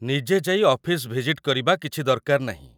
ନିଜେ ଯାଇ office visit କରିବା କିଛି ଦରକାର ନାହିଁ ।